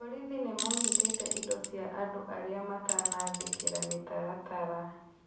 Borithi nĩmanyitĩte indo cia andũ arĩa matanathĩkĩra mĩtaratara